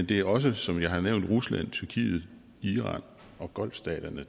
det er også som jeg har nævnt rusland tyrkiet iran og golfstaterne